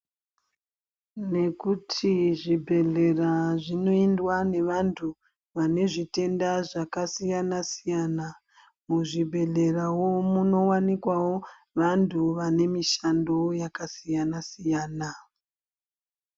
Nekuti zvibhedhlera zvinoendwa nevanhu vane zvitenda zvakasiyana siyana muzvibhedhlerawo munowanikwawo vantu vane mishando yakasiyana siyana.